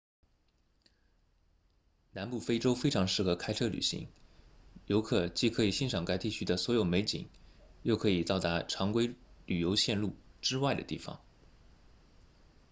南部非洲非常适合开车旅行游客既可以欣赏该地区的所有美景又可以到达常规旅游路线之外的地方